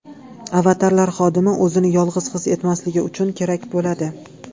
Avatarlar xodim o‘zini yolg‘iz his etmasligi uchun kerak bo‘ladi.